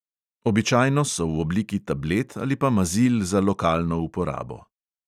Običajno so v obliki tablet ali pa mazil za lokalno uporabo.